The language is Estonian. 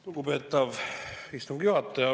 Lugupeetav istungi juhataja!